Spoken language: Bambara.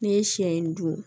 N'i ye siɲɛ in dun